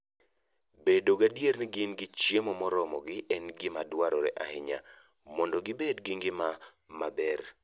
Bedo gadier ni gin gi chiemo moromogi en gima dwarore ahinya mondo gibed gi ngima maber.